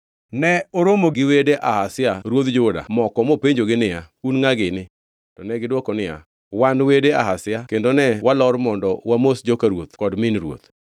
ne oromo gi wede Ahazia ruodh Juda moko mopenjogi niya, “Un ngʼa gini.” To negidwoko niya, “Wan wede Ahazia kendo ne walor mondo wamos joka ruoth kod min ruoth.”